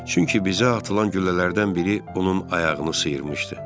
Çünki bizə atılan güllələrdən biri onun ayağını sıyırmışdı.